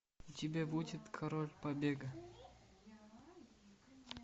у тебя будет король побега